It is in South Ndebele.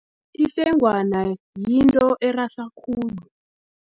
Ifengwana, yinto erasa khulu.